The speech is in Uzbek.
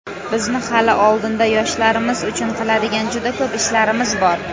Bizni hali oldinda yoshlarimiz uchun qiladigan juda ko‘plab ishlarimiz bor.